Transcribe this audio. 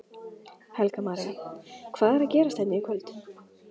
Helga María: Hvað er að gerast hérna í kvöld?